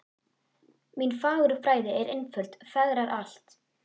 Mín fagurfræði er einföld fegrar allt